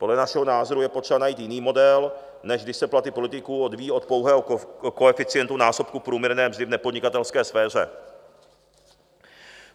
Podle našeho názoru je potřeba najít jiný model, než když se platy politiků odvíjí od pouhého koeficientu násobku průměrné mzdy v nepodnikatelské sféře.